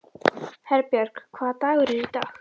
Herbjörg, hvaða dagur er í dag?